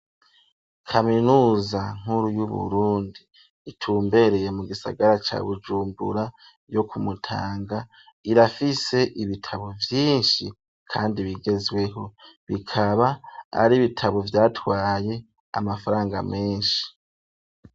Kaminuza nkuru y'Uburundi itumbereye mu gisagara ca Bujumbura yo ku Mutanga, irafise ibitabo vyinshi kandi bigezweho, bikaba ari bitabo vyatwaye amafaranga menshi.